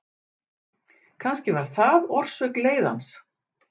Kannski var það orsök leiðans.